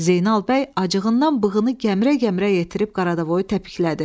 Zeynal bəy acığından bığını gəmirə-gəmirə yetirib qaradavoyu təpiklədi.